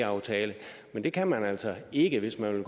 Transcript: aftale men det kan man altså ikke hvis man vil